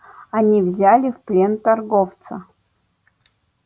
они взяли в плен торговца